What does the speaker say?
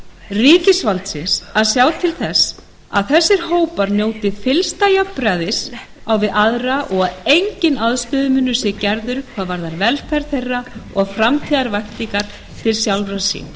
ríkisvaldsins að sjá til þess að þessir hópar njóti fyllsta jafnræðis á við aðra og að enginn aðstöðumunur sé gerður hvað velferð þeirra varðar og framtíðarvæntingar til sjálfra sín